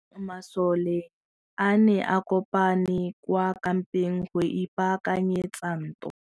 Masole a ne a kopane kwa kampeng go ipaakanyetsa ntwa.